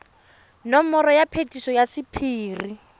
nomoro ya phetiso ya sephiri